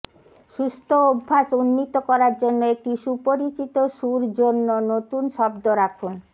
সুস্থ অভ্যাস উন্নীত করার জন্য একটি সুপরিচিত সুর জন্য নতুন শব্দ রাখুন